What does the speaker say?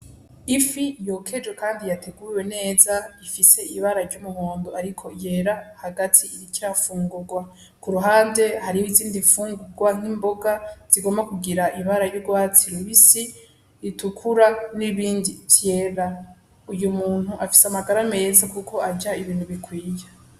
Ifi yokejwe kandi yateguwe neza ifise ibara ry'umuhondo ariko yera hagati iriko irafungugwa kuruhande hariho izindi mfungugwa nk'imboga zigomba kugira ibara ry'ugwatsi rubisi, ritukura n'ibindi vyera, Uyu muntu afise amagara meza kuko arya ibintu bikwiye.